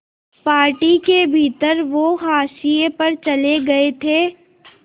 party के भीतर वो हाशिए पर चले गए थे